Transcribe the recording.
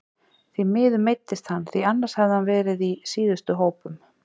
Því miður meiddist hann því annars hefði hann verið í síðustu hópum.